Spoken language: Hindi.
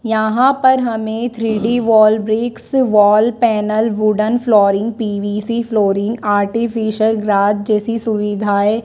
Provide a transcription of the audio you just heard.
यहां पर हमें three D wall bricks wall panel wooden flooring PVC flooring artificial grass जैसी सुविधाएं--